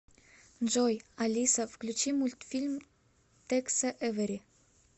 джой алиса включи мультфильм текса эвери